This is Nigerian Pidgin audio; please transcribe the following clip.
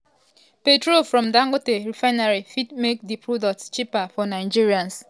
petrol from dangote refinery fit make di product cheaper for nigerians?